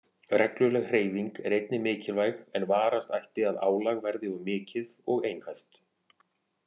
Regluleg hreyfing er einnig mikilvæg en varast ætti að álag verði of mikið og einhæft.